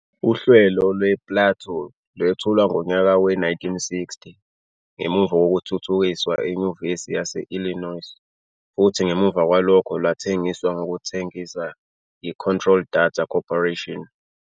Uhlelo lwe-PLATO lwethulwa ngonyaka we-1960, ngemuva kokuthuthukiswa eNyuvesi yase-Illinois futhi ngemuva kwalokho lwathengiswa ngokuthengisa yi-Control Data Corporation.